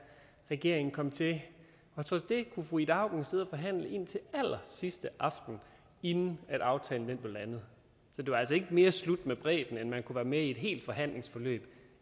regeringen kom til og trods det kunne fru ida auken sidde og forhandle indtil allersidste aften inden aftalen blev landet så det var altså ikke mere slut med bredden end at man kunne være med i et helt forhandlingsforløb